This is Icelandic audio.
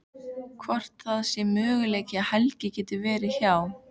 Hvort það sé möguleiki að Helgi geti verið hjá.